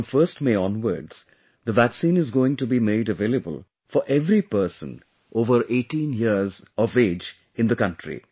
Now from 1st May onwards ,the vaccine is going to be made available for every person above 18 years in the country